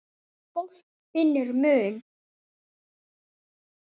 En fólk finnur mun.